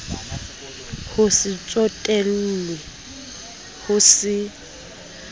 ho se tsotellwe ho se